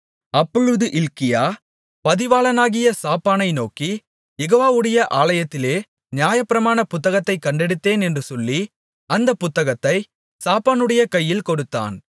அப்பொழுது இல்க்கியா பதிவாளனாகிய சாப்பானை நோக்கி யெகோவாவுடைய ஆலயத்திலே நியாயப்பிரமாணப் புத்தகத்தைக் கண்டெடுத்தேன் என்று சொல்லி அந்தப் புத்தகத்தை சாப்பானுடைய கையில் கொடுத்தான்